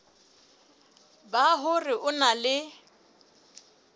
ba hore o na le